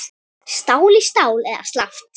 Stál í stál eða slappt?